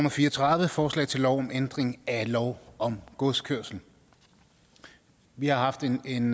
og fire og tredive er forslag til lov om ændring af lov om godskørsel vi har haft en